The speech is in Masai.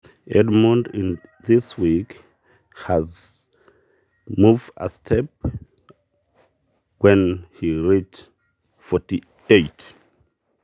Edmund tena wiki ilepwa enkae rorwata sidai pebaya esiana e artam oisiet.